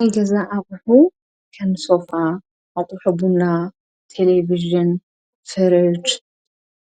ናይ ገዛ ኣቕሑ ከንሶፋ ኣቝሕቡና ቴሌብዝን ፈረድ